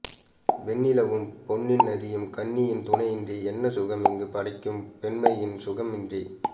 வெண்ணிலவும் பொன்னி நதியும் கன்னியின் துணையின்றி என்ன சுகம் இங்கு படைக்கும் பெண்மையின் சுகமின்றி